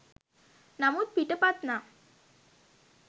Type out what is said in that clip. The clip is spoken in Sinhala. නමුත් පිටපත් නම්